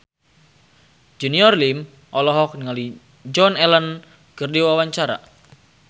Junior Liem olohok ningali Joan Allen keur diwawancara